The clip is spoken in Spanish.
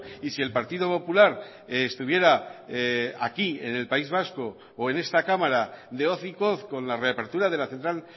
y si el partido popular estuviera aquí en el país vasco o en esta cámara de hocicos con la reapertura de la central